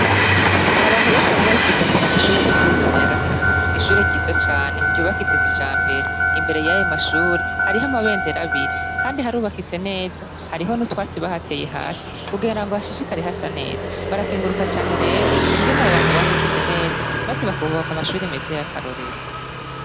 Hari abantu benshi bagoma bifuza kumenya ishure ry' kurirutana ya gatatu n'ishure ryiza cane ryubakitse kija mbere imbere yayo mashure hariho amabendera abiri, kandi harubakitse neza hariho n'utwatsi bahateye hasi kugenra ngo hashishikari hasa neza barakenguruka cane rero ingene abu bantu bahagize neza, maze bakbubahoka amashuri meza y'akarorero.